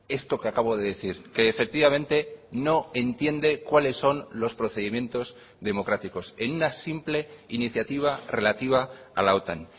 esto que acabo de decir que efectivamente no entiende cuáles son los procedimientos democráticos en una simple iniciativa relativa a la otan